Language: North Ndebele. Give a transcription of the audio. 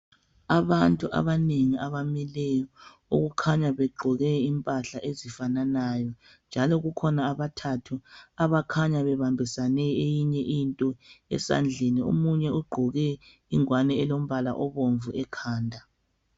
Abantu abanengi abamileyo abakhanya begqoke impahla ezifananayo njalo kukhona abathathu abakhanya bebambisene eyinye into esandleni omunye ugqoke ingwane elombala obomvu ekhanda.